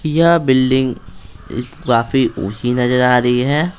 यह बिल्डिंग काफी ऊंची नजर आ रही है।